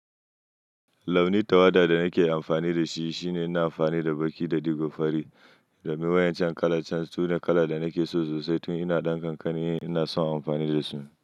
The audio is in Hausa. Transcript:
Launi tawada da nake amfani da shi shine ina amfani da baƙi da digo fari domin wayancan kalan can sune kala da nake so sosai tun ina ɗan kankaniyi ina son amfani da su.